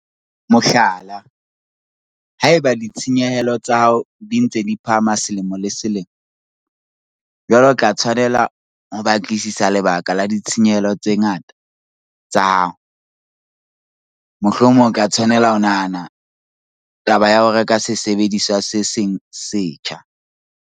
Mohlala, ha eba ditshenyehelo tsa hao di ntse di phahama selemo le selemo, jwale o tla tshwanela ho batlisisa lebaka la ditshenyehelo tsa ngata tsa hao, mohlomong o tla tshwanela ho nahana taba ya ho reka sesebediswa se seng se setjha.